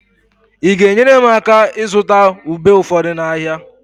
Ị ga-enyere m aka ịzụta ube ụfọdụ n'ahịa?